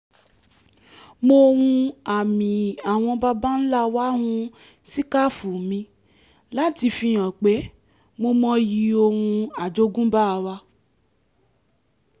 mo hun àmì àwọn baba ńlá wa hun síkáàfù mi láti fi hàn pé mo mọyì ohún àjogúnbá wa